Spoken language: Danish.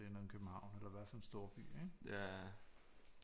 Det er en eller anden København eller i hvert fald en storby ikke